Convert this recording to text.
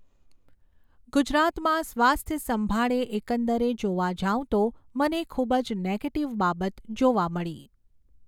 ગુજરાતમાં સ્વાસ્થ્ય સંભાળે એકંદરે જોવા જાઉં તો મને ખૂબ જ નૅગેટિવ બાબત જોવા મળી.